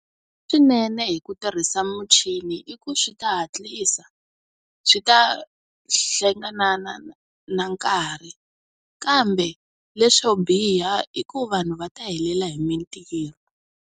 Swi nene hi ku tirhisa muchini i ku swi ta hatlisa, swi ta hlenga na na nkarhi kambe leswo biha i ku vanhu va ta helela hi mintirho.